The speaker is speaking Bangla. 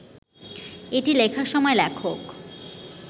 এটি লেখার সময় লেখক